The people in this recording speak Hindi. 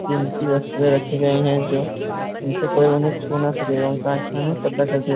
जिनकी वस्त्र रखी गई हैजो जिनसे उन्हें कोई छूना ना सके उनका कांच से पर्दा करदे।